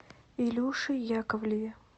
илюше яковлеве